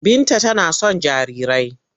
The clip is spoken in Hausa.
Binta tana son jarirai.